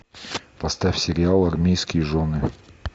поставь сериал армейские жены